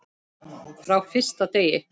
Frá fyrsta degi.